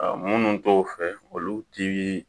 Munnu t'o fɛ olu ti